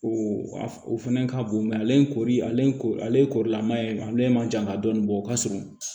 O o fɛnɛ ka bon mɛ ale kɔɔri ale ye korilama ye ale man jan ka dɔɔni bɔ o ka surun